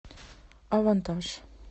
авантаж